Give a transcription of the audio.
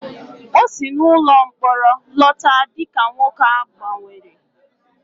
O si n'ụlọ mkpọrọ lọta dị ka nwoke a gbanwere